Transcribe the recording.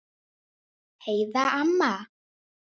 Heiða amma.